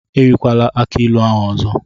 Erikwala akii ilu ahụ ọzọ!